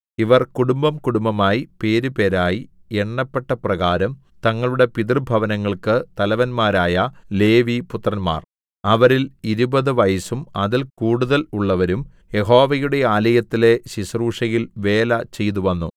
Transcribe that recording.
ഇവർ കുടുംബംകുടുംബമായി പേരുപേരായി എണ്ണപ്പെട്ടപ്രകാരം തങ്ങളുടെ പിതൃഭവനങ്ങൾക്കു തലവന്മാരായ ലേവിപുത്രന്മാർ അവരിൽ ഇരുപതു വയസ്സും അതിൽ കൂടുതൽ ഉള്ളവരും യഹോവയുടെ ആലയത്തിലെ ശുശ്രൂഷയിൽ വേല ചെയ്തുവന്നു